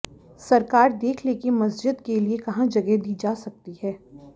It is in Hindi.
सरकार देख ले कि मस्ज़िद के लिए कहां जगह दी जा सकती है